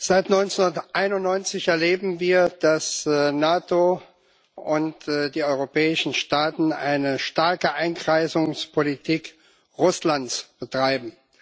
Seit 1991 erleben wir, dass die NATO und die europäischen Staaten eine starke Einkreisungspolitik Russlands betreiben.